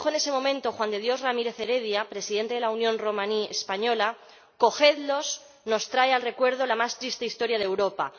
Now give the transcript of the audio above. como dijo en ese momento Juan de Dios Ramírez Heredia, Presidente de la Unión Romaní española Cogedlos nos trae el recuerdo de la más triste historia de Europa.